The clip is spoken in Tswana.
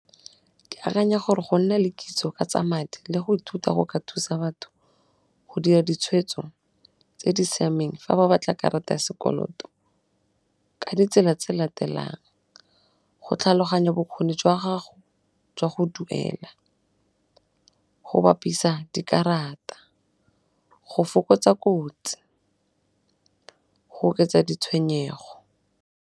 Ke akanya gore go nna le kitso ka tsa madi le go ithuta go ka thusa batho go dira ditshwetso tse di siameng fa ba batla karata ya sekoloto ka ditsela tse latelang, go tlhaloganya bokgoni jwa gago jwa go duela, go bapisa dikarata, go fokotsa kotsi, go oketsa ditshwenyego.